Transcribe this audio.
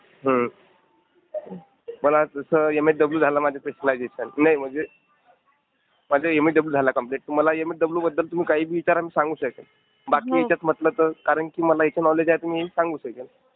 हो. मला जसं एमएसडब्ल्यू झालं माझं स्पेशलायझेशन नाही म्हणजे माझं एमएसडब्ल्यू झालं कम्प्लिट तर मला एमएसडब्ल्यूबद्दल कुणी काही बी विचारा मी सांगू शकेन. बाकी ह्याच्यात म्हंटलं तर... कारण की मला इथं नॉलेज आहे तर मी सांगू शकेन.